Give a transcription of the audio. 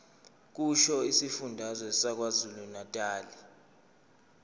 kusho isifundazwe sakwazulunatali